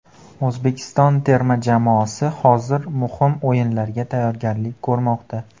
O‘zbekiston terma jamoasi hozir muhim o‘yinlarga tayyorgarlik ko‘rmoqda.